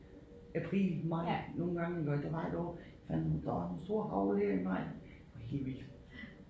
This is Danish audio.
April maj nogle gang iggå der var et år fanden der var sådan nogle store hagl her i maj det var helt vildt